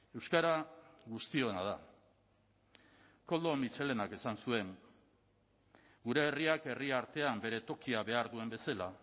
euskara guztiona da koldo mitxelenak esan zuen gure herriak herri artean bere tokia behar duen bezala